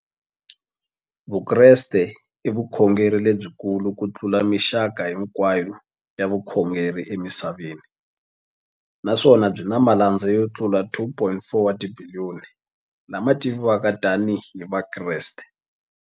Vukreste i vukhongeri lebyi kulu kutlula mixaka hinkwayo ya vukhongeri emisaveni, naswona byi na malandza yo tlula 2.4 wa tibiliyoni, la ma tiviwaka tani hi Vakreste.